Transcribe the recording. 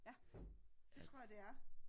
Ja det tror jeg det er